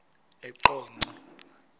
eqonco